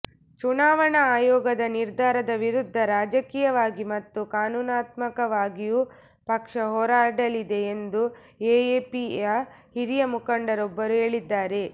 ಚುನಾವಣಾ ಆಯೋಗದ ನಿರ್ಧಾರದ ವಿರುದ್ಧ ರಾಜಕೀಯವಾಗಿ ಮತ್ತು ಕಾನೂನಾತ್ಮಕವಾಗಿಯೂ ಪಕ್ಷ ಹೋರಾಡಲಿದೆ ಎಂದು ಎಎಪಿಯ ಹಿರಿಯ ಮುಖಂಡರೊಬ್ಬರು ಹೇಳಿದ್ದಾರೆ